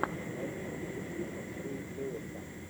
найди список фильмов с рэй лиотта